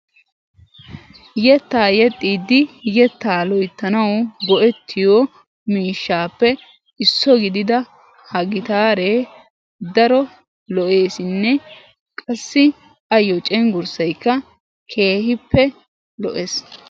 Yettaa yexxiiddi yetta loyittanawu go6ettiyo miishshaappe isso gidida ha gitaare daro lo7eesinne qassi ayyo cenggurssayikka keehippe lo7es.